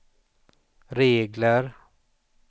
regler